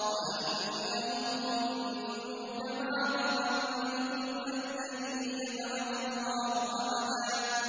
وَأَنَّهُمْ ظَنُّوا كَمَا ظَنَنتُمْ أَن لَّن يَبْعَثَ اللَّهُ أَحَدًا